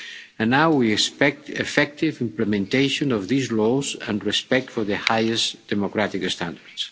And now we expect effective implementation of these laws and respect for the highest democratic standards.